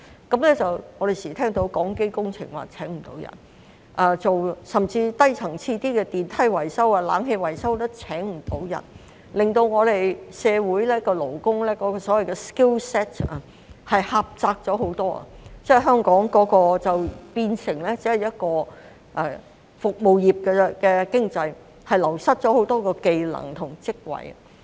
我們經常聽到港機工程聘請不到人手，甚至較低層次的電梯、冷氣維修也聘請不到人手，令到香港社會勞工的所謂 skill set 狹窄了很多，香港變成只是服務業的經濟，流失了很多技能及職位。